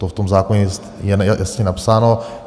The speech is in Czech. To v tom zákoně je jasně napsáno.